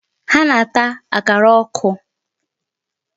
Ha na-ata akara ọkụ.